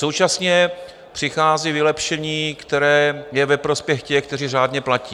Současně přichází vylepšení, které je ve prospěch těch, kteří řádně platí.